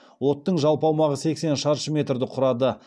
оттың жалпы аумағы сексен шаршы метрді құрады